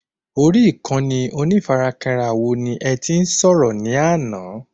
Orí Ìkànnì onífarakínra wo ní ẹti sọ̀rọ̀ ní àná?